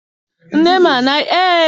nne m anaghị ekwe ka anyị metụ sọọ ya aka.